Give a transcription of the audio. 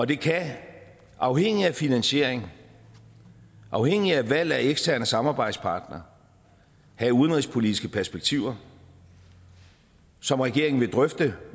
det kan afhængigt af finansieringen afhængigt af valg af eksterne samarbejdspartnere have udenrigspolitiske perspektiver som regeringen vil drøfte